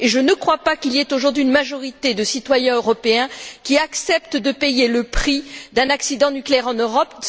Et je ne crois pas qu'il y ait aujourd'hui une majorité de citoyens européens qui acceptent de payer le prix d'un accident nucléaire en Europe.